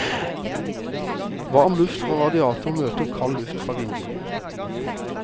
Varm luft fra radiator møter kald luft fra vindu.